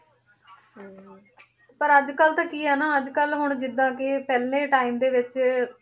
ਹਾਂਜੀ ਪਰ ਅੱਜ ਕੱਲ੍ਹ ਤਾਂ ਕੀ ਹੈ ਹਨਾ ਅੱਜ ਕੱਲ੍ਹ ਜਿੱਦਾਂ ਕਿ ਪਹਿਲੇ time ਦੇ ਵਿੱਚ